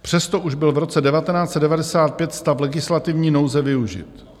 Přesto už byl v roce 1995 stav legislativní nouze využit.